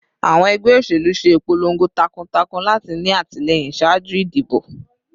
Awọn ẹgbẹ oṣelu ṣe ipolongo takuntakun lati ni atilẹyin ṣaaju idibo